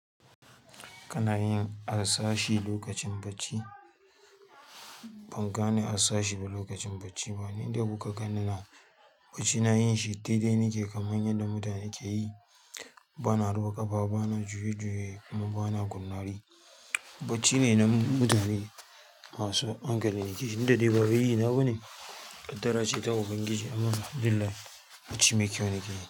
Kana yin harsashi lokacin bacci? Ban gane harsashi ba lokacin bacci bane, inda kuka gani na bacci na yin shi daidai nake kamar yadda mutane ke yi. Bana ruwa ƙafa, bana juye-juye kuma bana kunnari. Bacci ne na mutane masu hankali, nake jin daɗi. Bafa yi na bane ƙaddara ce ta ubangiji amma Alhamdulilla bacci mai kyau nake yi.